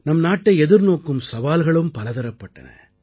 நம் நாட்டை எதிர்நோக்கும் சவால்களும் பலதரப்பட்டன